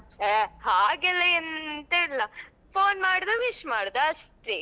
A ಹಾಗೆಲ್ಲ ಎಂತ ಇಲ್ಲ phone ಮಾಡುದು wish ಮಾಡುದು ಅಷ್ಟೇ.